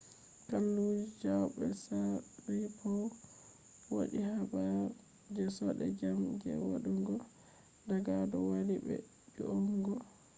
galluje chiao be sharipov waddhi habar je jode jam je dayugo daga du wali be ju’ungo